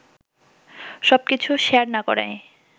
সবকিছু শেয়ার না করায়